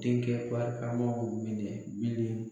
Denkɛ barikamaw minɛ bilen.